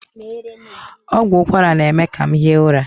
Ọgwụ ụkwara na-eme ka m hie ụra.